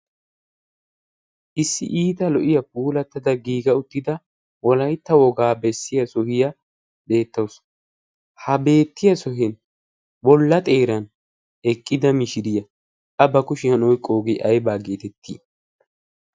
issi iita lo''iyaa puulattada giiga uttida wolaytta wogaa bessiya sohiyaa beettaasu ha beettiya sohin bolla xeeran eqqida mishiriyaa a ba kushiyan oyqqoogee aybaa geetettii